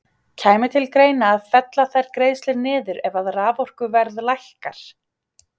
Kæmi til greina að fella þær greiðslur niður ef að raforkuverð lækkar?